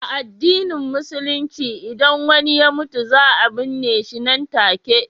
A addinin Musulunci, idan wani ya mutu, za a binne shi nan take.